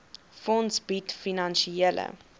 fonds bied finansiële